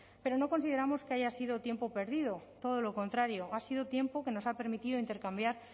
pero no consideramos que haya sido tiempo perdido todo lo contrario ha sido tiempo que nos ha permitido intercambiar